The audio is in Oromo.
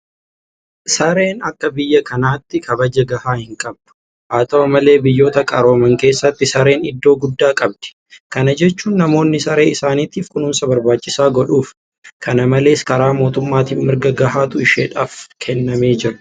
Sareen akka biyya kanaatti kabaja gahaa hinqabdu. Haata'u malee biyyoota qarooman keessatti sareen iddoo guddaa qabdi. Kana jechuun namoonni saree isaaniitiif kunuunsa barbaachisaa godhuuf. Kana malees karaa mootummaatiin mirga gahaatu isheedhaaf kennamee jira.